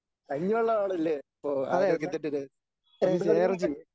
കഞ്ഞിവെള്ളം ആണല്ലേ അപ്പൊ ആരോഗ്യത്തിന്റെ ര പന്ത് കളിയും ക